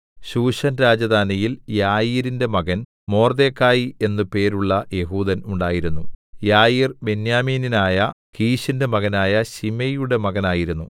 എന്നാൽ ശൂശൻ രാജധാനിയിൽ യായീരിന്റെ മകൻ മൊർദെഖായി എന്ന് പേരുള്ള യെഹൂദൻ ഉണ്ടായിരുന്നു യായീർ ബെന്യാമീന്യനായ കീശിന്റെ മകനായ ശിമെയിയുടെ മകനായിരുന്നു